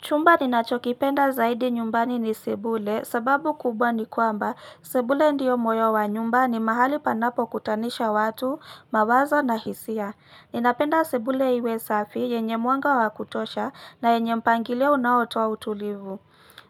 Chumba ninachokipenda zaidi nyumbani ni sebule sababu kubwa ni kwamba sebule ndiyo moyo wa nyumba ni mahali panapo kutanisha watu, mawazo na hisia. Ninapenda sebule iwe safi yenye mwanga wakutosha na yenye mpangilio unaotoa utulivu.